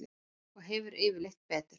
Og hefur yfirleitt betur.